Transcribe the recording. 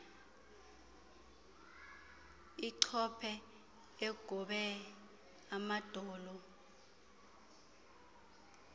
achophe egobe amadolo